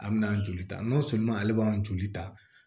An bɛna joli ta n'a sɔnn'a ma ale b'an joli ta